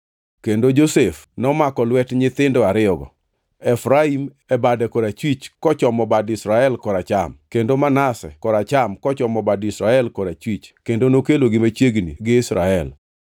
Kendo Josef nomako lwet nyithindo ariyogo, Efraim e bade korachwich kochomo bad Israel koracham, kendo Manase koracham kochomo bad Israel korachwich kendo nokelogi machiegni gi Israel.